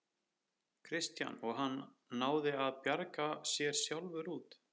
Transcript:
Kristján: Og hann náði að bjarga sér sjálfur út?